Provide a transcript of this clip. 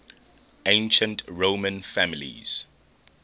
ancient roman families